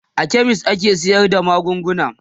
a chemist ake sayar da magunguna